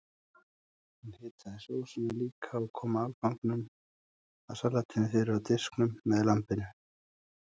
Hún hitaði sósuna líka og kom afganginum af salatinu fyrir á diskunum með lambinu.